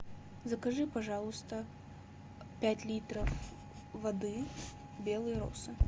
закажи пожалуйста пять литров воды белые росы